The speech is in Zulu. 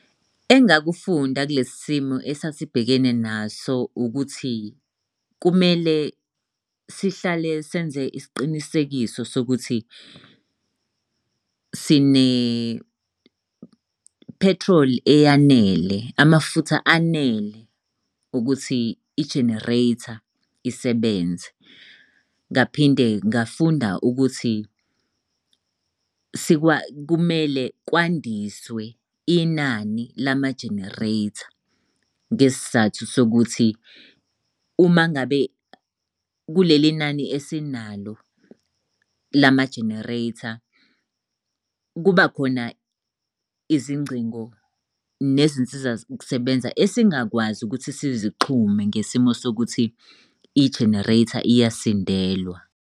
Engakufunda kulesi simo esasibhekene naso ukuthi, kumele sihlale senze isiqinisekiso sokuthi sine-petrol eyanele, amafutha anele ukuthi i-generator isebenze. Ngaphinde ngafunda ukuthi kumele kwandiswe inani lama-generator ngesizathu sokuthi uma ngabe kulelinani esinalo lama-generator kuba khona izingcingo nezinsiza kusebenza esingakwazi ukuthi sizixhume ngesimo sokuthi i-generator iyasindelwa.